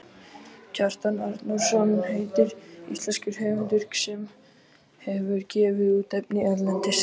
Kjartan Arnórsson heitir íslenskur höfundur sem hefur gefið út efni erlendis.